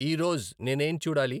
ఈరోజ్ నేనేం చూడాలి